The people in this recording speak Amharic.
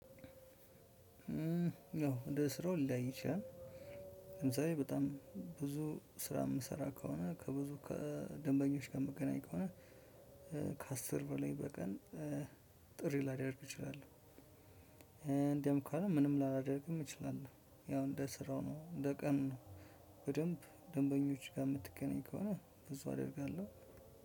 ያው እንደ ስራው ሊለያይ ይችላል። ለምሳሌ በጣም ብዙ ስራ የምሰራ ከሆነ ከብዙ ከደንበኞች ምገናኝ ከሆነ ከአስር በላይ በቀን ጥሪ ላደርግ እችላለሁ። ደም ከሆነ ምንም ላላደርግም እችላለሁ። ያው እንደ ስራው ነው እንደ ቀኑ ነው። በደንብ ደንበኞች ጋር ምትገናኝ ከሆነ እንደዛ አደርጋለሁ።